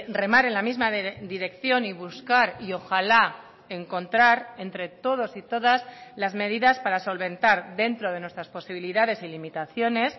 remar en la misma dirección y buscar y ojalá encontrar entre todos y todas las medidas para solventar dentro de nuestras posibilidades y limitaciones